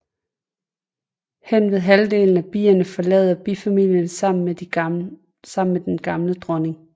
Henved halvdelen af bierne forlader bifamilien sammen med den gamle dronning